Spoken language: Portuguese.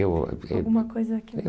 Eu eh... Alguma coisa que